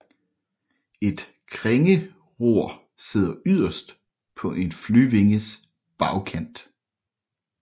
Et krængeror sidder yderst på en flyvinges bagkant